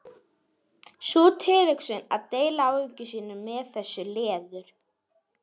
Sú tilhugsun að deila áhyggjum sínum með þessu leður